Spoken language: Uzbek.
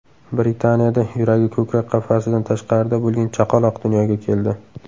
Britaniyada yuragi ko‘krak qafasidan tashqarida bo‘lgan chaqaloq dunyoga keldi .